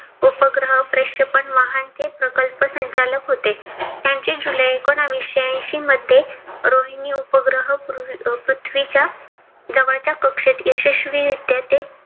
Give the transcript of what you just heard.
उपग्रह प्रक्षेपण वाहन चे प्रकल्प संचालक होते. यांचे जुलै एकोनाविशे ऐंशी मध्ये रोहिणी उपग्रह पृथ्वीच्या जवळच्या कक्षेत यशस्वी रित्या ते